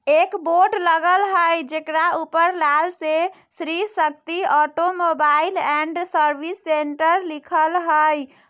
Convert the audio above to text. एक बोर्ड लगल हय जकरा ऊपर लाल से Shri Shakti automobile and service centre लिखल हय।